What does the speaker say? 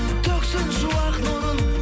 төксін шуақ нұрын